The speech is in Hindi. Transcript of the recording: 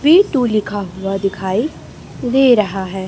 वे टू लिखा हुआ दिखाई दे रहा है।